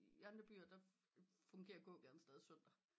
I andre byen er funderer gågaden stadig søndag